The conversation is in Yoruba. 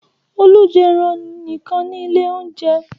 Olú jẹ ẹran nìkan ní ilé-oúnjẹ.